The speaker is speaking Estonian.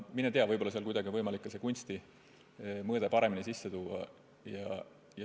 Mine tea, võib-olla on kuidagi võimalik ka see kunstimõõde paremini sisse tuua.